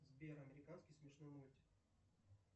сбер американский смешной мультик